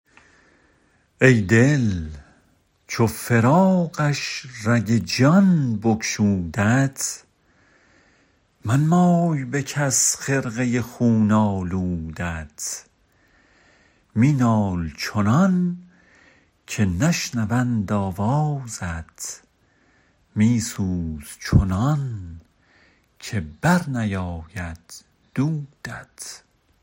ای دل چو فراقش رگ جان بگشودت منمای به کس خرقه خون آلودت می نال چنان که نشنوند آوازت می سوز چنان که بر نیآید دودت